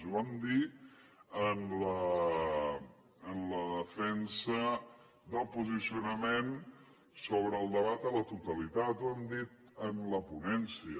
ho vam dir en la defensa del posicionament sobre el debat a la totalitat ho hem dit en la ponència